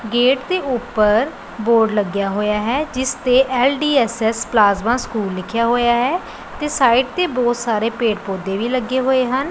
Gate ਦੇ ਉੱਪਰ board ਲੱਗਿਆ ਹੋਇਆ ਹੈ ਜਿਸ ਦੇ ਐਲ_ਡੀ_ਐਸ_ਐਸ ਪਲਾਜਮਾ ਸਕੂਲ ਲਿਖਿਆ ਹੋਇਆ ਹੈ ਤੇ ਸਾਈਡ ਤੇ ਬਹੁਤ ਸਾਰੇ ਪੇੜ ਪੌਦੇ ਵੀ ਲੱਗੇ ਹੋਏ ਹਨ।